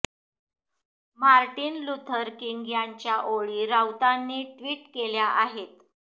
Martin Luther King यांच्या ओळी राऊतांनी ट्विट केल्या आहेत